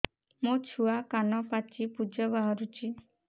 ମୋ ଛୁଆ କାନ ପାଚି ପୂଜ ବାହାରୁଚି